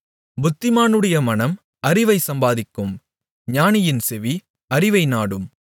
புத்திமானுடைய மனம் அறிவைச் சம்பாதிக்கும் ஞானியின் செவி அறிவை நாடும்